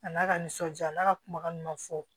A n'a ka nisɔndiya n'a ka kumakan ɲumanw fɔ